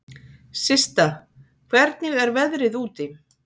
Systa, hvernig er veðrið úti?